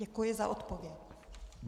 Děkuji za odpověď.